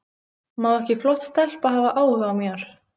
Má ekki flott stelpa hafa áhuga á mér?